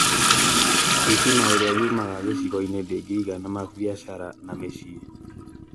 thitima ĩrĩa yumaga gĩcigoinĩ ndĩngĩigana mabiacara na mĩciĩ